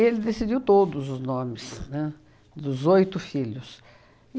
decidiu todos os nomes, né, dos oito filhos.